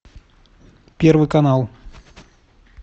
первый канал